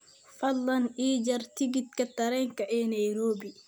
Fadlan ii jar tikidhka tareenka ee Nairobi